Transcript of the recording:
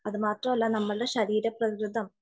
അത് മാത്രമല്ല നമ്മുടെ ശരീര പ്രകൃതം